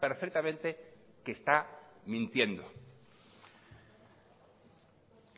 perfectamente que está mintiendo